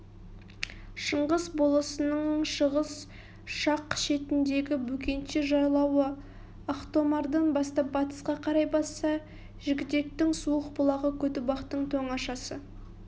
шыңғыс болысының шығыс жақ шетіндегі бөкенші жайлауы ақтомардан бастап батысқа қарай басса жігітектің суық бұлағы көтібақтың тоңашасы